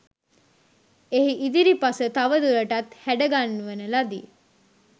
එහි ඉදිරිපස තවදුරටත් හැඩ ගන්වන ලදී.